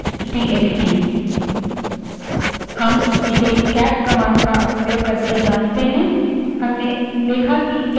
हम इसे cat command का उपयोग करके जाँचते हैं